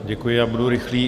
Děkuji, já budu rychlý.